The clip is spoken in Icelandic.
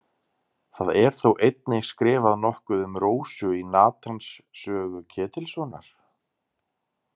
Það er þó einnig skrifað nokkuð um Rósu í Natans sögu Ketilssonar.